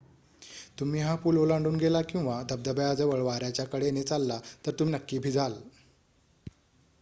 तुम्ही हा पूल ओलांडून गेला किंवा धबधब्याजवळ वाऱ्याच्या कडेने चालला तर तुम्ही नक्की भिजाल